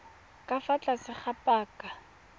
ka fa tlase ga paka